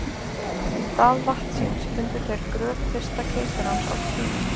Í stað vatnsins fundu þeir gröf fyrsta keisarans af Kína.